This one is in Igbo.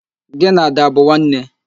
Gị na Ada abụ nwanne?